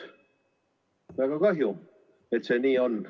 Väga kahju, et see nii on.